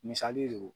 Misali de do